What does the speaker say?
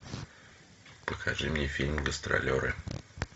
покажи мне фильм гастролеры